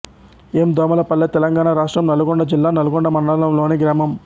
ఎమ్ దోమలపల్లె తెలంగాణ రాష్ట్రం నల్గొండ జిల్లా నల్గొండ మండలంలోని గ్రామం